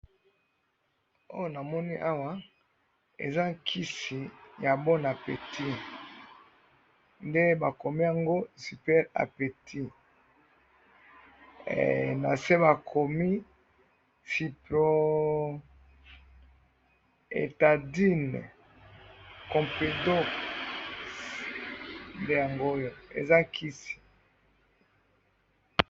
Oyo namoni awa, eza kisi ya bon appétit nde bakomi yango super appétit na se bakomi cyproetadine, compridox nde yango'yo eza kisi